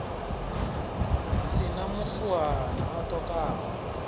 si na muswuhana a ṱokaho